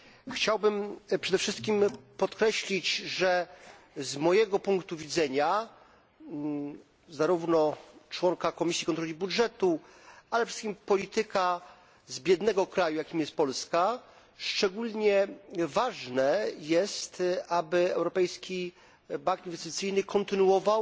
Chciałbym przede wszystkim podkreślić, że z mojego punktu widzenia zarówno członka Komisji Kontroli Budżetowej, ale przede wszystkim polityka z biednego kraju, jakim jest Polska szczególnie ważne jest, aby Europejski Bank Inwestycyjny kontynuował